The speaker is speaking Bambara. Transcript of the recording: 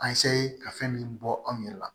A ka fɛn min bɔ anw yɛrɛ la